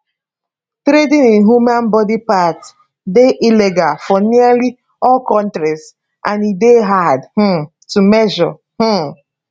trading in human body parts dey illegal for nearly all kontris and e dey hard um to measure um